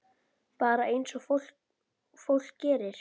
Bara eins og fólk gerir.